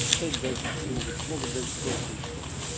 читать дальше могут могут дальше просто не читать